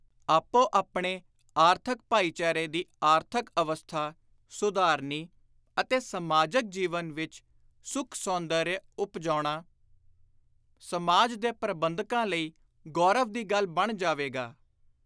ਆਪੋ ਆਪਣੇ ਆਰਥਕ ਭਾਈਚਾਰੇ ਦੀ ਆਰਥਕ ਅਵਸਥਾ ਸੁਧਾਰਨੀ ਅਤੇ ਸਮਾਜਕ ਜੀਵਨ ਵਿਚ ਸੁਖ-ਸੌਂਦਰਯ ਉਪਜਾਉਣਾ ਸਮਾਜ ਦੇ ਪ੍ਰਬੰਧਕਾਂ ਲਈ ਗੌਰਵ ਦੀ ਗੱਲ ਬਣ ਜਾਵੇਗਾ।